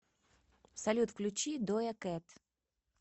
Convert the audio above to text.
салют включи доя кэт